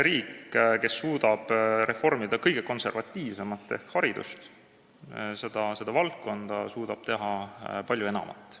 Riik, kes suudab reformida kõige konservatiivsemat valdkonda ehk haridust, suudab teha palju enamat.